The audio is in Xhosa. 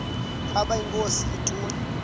ukaba inkosi ituna